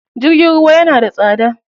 Jirgin ruwa yana da tsada.